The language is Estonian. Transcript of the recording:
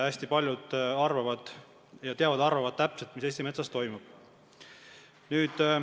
Hästi paljud arvavad täpselt teadvat, mis Eesti metsas toimub.